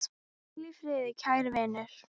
Hvíl í friði, kæri vinur!